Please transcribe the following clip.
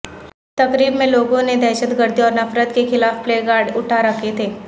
تقریب میں لوگوں نے دہشت گردی اور نفرت کے خلاف پلے کارڈ اٹھا رکھے تھے